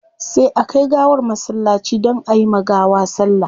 Sai a kai gawar masallaci don ayi ma gawa sallah